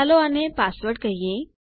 ચાલો આને પાસવર્ડ કહીએ